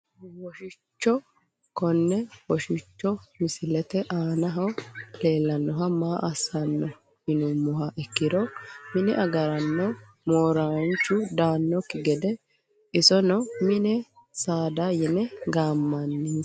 Woshicho kone woshicho misilete aanaho leelanoha maa asano yinumoha ikiro mine agarano mooranchu daanoki gede isono mini saada yine gaamanisi.